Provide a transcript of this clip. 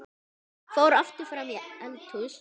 Fór aftur fram í eldhús.